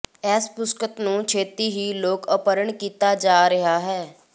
ਇਸ ਪੁਸਤਕ ਨੂੰ ਛਤੀ ਹੀ ਲੋਕ ਅਰਪਨ ਕੀਤਾ ਜਾ ਰਿਹਾ ਹੈ